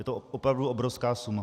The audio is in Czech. Je to opravdu obrovská suma.